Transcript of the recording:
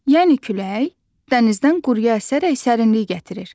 Yəni külək dənizdən quruya əsərək sərinlik gətirir.